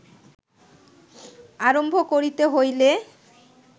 আরম্ভ করিতে হইলে